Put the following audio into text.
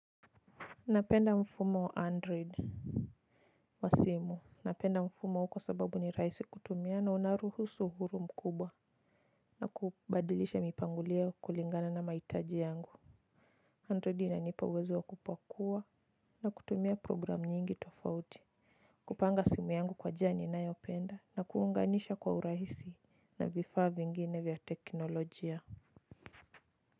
Napenda mfumo wa android, wa simu. Napenda mfumo huu kwa sababu ni rahisi kutumia na unaruhusu uhuru mkubwa. Na kubadilisha mipangulio kulingana na mahitaji yangu. Android inanipa uwezo wa kupakua na kutumia program nyingi tofauti. Kupanga simu yangu kwa njia ninayopenda na kuunganisha kwa uraisi na vifaa vingine vya teknolojia.